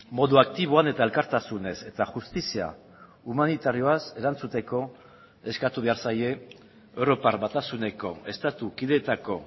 modu aktiboan eta elkartasunez eta justizia humanitarioaz erantzuteko eskatu behar zaie europar batasuneko estatu kideetako